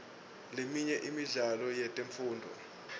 leminye imidlalo yetemfundvo